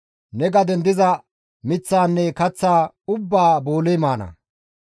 Ne gaden diza miththaanne kaththaa ubbaa booley maana.